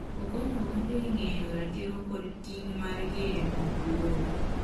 okonyo oganda e ng'eyo ratiro koda ting' margi e mbak lowo